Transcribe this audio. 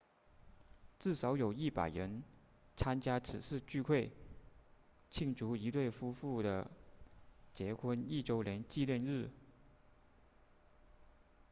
至少有100人参加此次聚会庆祝一对夫妇的结婚一周年纪念日